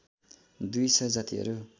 दुई सय जातिहरू